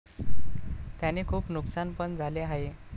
त्याने खूप नुकसान पण झाले आहे.